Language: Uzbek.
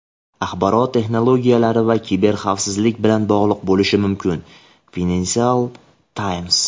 axborot texnologiyalari va kiberxavfsizlik bilan bog‘liq bo‘lishi mumkin – "Financial Times".